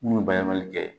Mun bɛ bayɛlɛmali kɛ